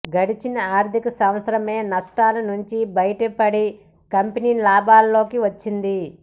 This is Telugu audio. గడిచిన ఆర్థిక సంవత్సరమే నష్టాల నుంచి బయటపడి కంపెనీ లాభాల్లోకి వచ్చింది